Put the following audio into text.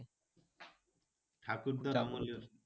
ঠাকুরদার আমলের।